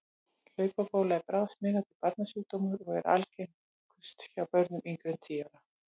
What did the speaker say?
Hlaupabóla er bráðsmitandi barnasjúkdómur og er algengust hjá börnum yngri en tíu ára.